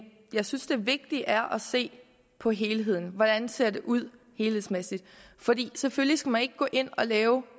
jeg synes det vigtige er at se på helheden hvordan ser det ud helhedsmæssigt for selvfølgelig skal man ikke gå ind og lave